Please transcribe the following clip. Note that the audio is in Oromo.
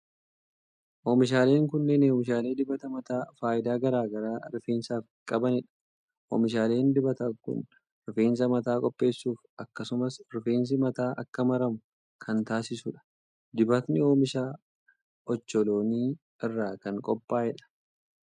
Oomishaaleen kunneen oomishaalee dibata mataa faayidaa garaa garaa rifeensaaf qabanii dha. Oomishaaleen dibataa kun rifeensa mataa qulqulleessuuf akkasumas rifeensi mataa akka maramuu kan taasisuu dha. Dibatni oomisha ocholonii irra kan qophaa'e dha.